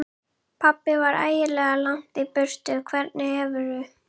Þá verð það ég sem axla hinn sanna kross.